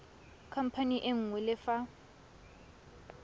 khamphane e nngwe le fa